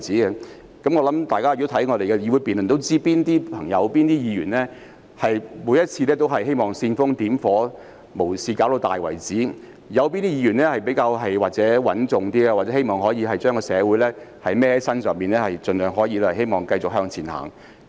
如大家有看過議會辯論，也知道哪些議員每次都希望煽風點火，無事化大；哪些議員比較穩重，希望把社會責任肩負上身，盡量繼續向前走。